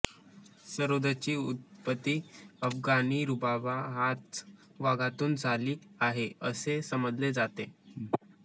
सरोदची उत्पत्ती अफगाणी रुबाब ह्या वाद्यातून झाली आहे असे समजले जाते